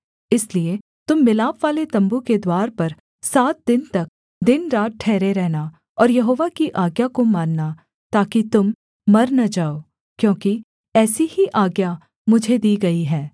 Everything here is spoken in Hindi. इसलिए तुम मिलापवाले तम्बू के द्वार पर सात दिन तक दिनरात ठहरे रहना और यहोवा की आज्ञा को मानना ताकि तुम मर न जाओ क्योंकि ऐसी ही आज्ञा मुझे दी गई है